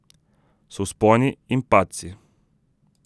So vzponi in padci.